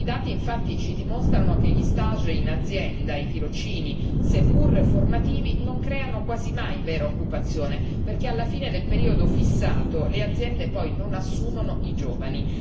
I dati, infatti, ci dimostrano che gli stage in azienda, i tirocini, seppur formativi, non creano quasi mai vera occupazione, perché alla fine del periodo fissato le aziende non assumono i giovani.